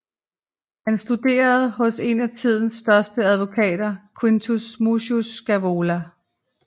Han studerede hos en af tidens største advokater Quintus Mucius Scaevola